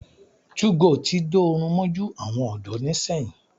2go tí dórun mójú àwọn ọ̀dọ́ ni sẹ́yìn.